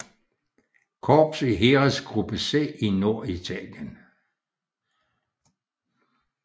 Korps i Heeresgruppe C i Norditalien